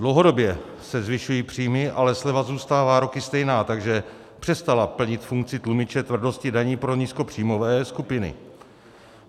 Dlouhodobě se zvyšují příjmy, ale sleva zůstává roky stejná, takže přestala plnit funkci tlumiče tvrdosti daní pro nízkopříjmové skupiny.